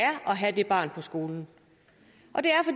have det barn på skolen